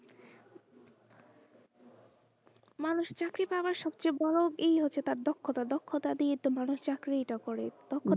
মানুষ চাকরি পাওয়ার সব চেয়ে বোরো এই হচ্ছে তার দক্ষতা দক্ষতা দিয়েতো মানুষ চাকরিটা করে দক্ষতা।